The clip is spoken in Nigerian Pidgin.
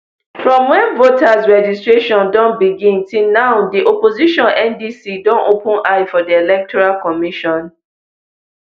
from wen voters registration don begin till now di opposition ndc don open eye for di electoral commission